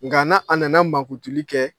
Nka n'a a nana mankutuli kɛ.